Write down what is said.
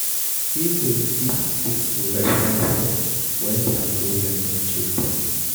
Pipo fit seek professional help when their problem don choke them